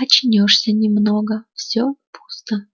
очнёшься немного все пусто